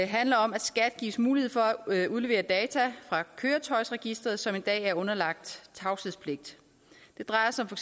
handler om at skat gives mulighed for at udlevere data fra køretøjsregisteret som i dag er underlagt tavshedspligt det drejer sig for